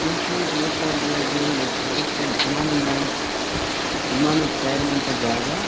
ಸ್ನೇಹಿತರೆ ಇದು ನೋಡ್ತಾ ಇದಿರಿ ಅಲ ಇದು ಏರೋಪ್ಲೇನ್ ವಿಮಾನ ನಿಲ್ದಾಣ ವಿಮಾನ ತಯಾರ್ ಮಾಡೋ ಅಂತ ಜಾಗ.